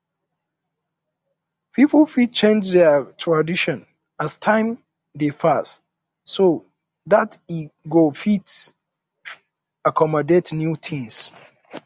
pipo fit change their tradition as time um dey pass um so dat e go fit um accomodat new things